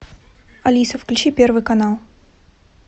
алиса включи первый канал